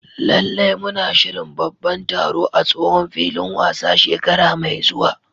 Lallai! Muna shirin babban taro a tsohon filin wasa shekara mai zuwa.